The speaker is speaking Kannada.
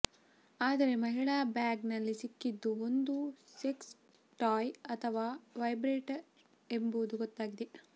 ಆದರೆ ಮಹಿಳೆ ಬ್ಯಾಗ್ ನಲ್ಲಿ ಸಿಕ್ಕಿದ್ದು ಒಂದು ಸೆಕ್ಸ್ ಟಾಯ್ ಅಥವಾ ವೈಬ್ರೇಟರ್ ಎಂಬುದು ಗೊತ್ತಾಗಿದೆ